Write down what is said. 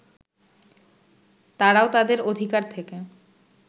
তারাও তাদের অধিকার থেকে